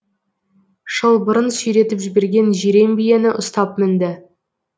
шылбырын сүйретіп жіберген жирен биені ұстап мінді